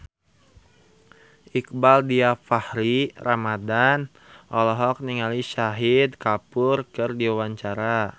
Iqbaal Dhiafakhri Ramadhan olohok ningali Shahid Kapoor keur diwawancara